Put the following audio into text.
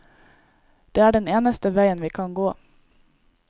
Det er den eneste veien vi kan gå.